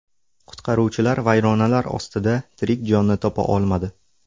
Qutqaruvchilar vayronalar ostida tirik jonni topa olmadi.